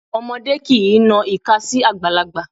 Ọmọdé kìí na ìka sí àgbàlagbà.